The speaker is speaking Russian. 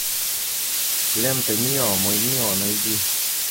лента мио мой мио найди